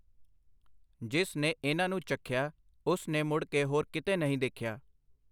ਜਿਸ ਨੇ ਇਨ੍ਹਾਂ ਨੂੰ ਚਖਿਆ, ਉਸ ਨੇ ਮੁੜ ਕੇ ਹੋਰ ਕਿਤੇ ਨਹੀਂ ਦੇਖਿਆ!